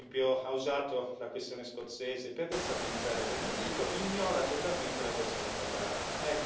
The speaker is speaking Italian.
Per esempio, ha usato la questione scozzese per destabilizzare il Regno Unito e ignora totalmente la questione catalana.